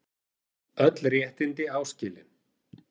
Öll réttindi áskilin